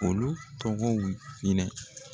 Olu tɔgɔw hinɛ.